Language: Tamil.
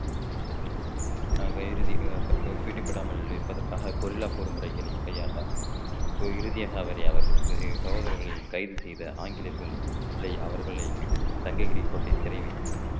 ஆக இறுதி அஹ் பிடிபடாமல் இருப்பதற்காக கொரில்லா போர் முறைகளை கையாண்டார் இறுதியாக அவரை அவருக்கு சகோதரர்களையும் கைது செய்த ஆங்கிலேயர்கள் இல்லை அவர்களை சங்ககிரி கோட்டை சிறை வைத்தனர்